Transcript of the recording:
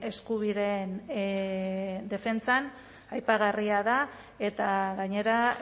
eskubideen defentsan aipagarria da eta gainera